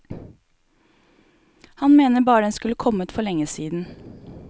Han mener bare den skulle kommet for lenge siden.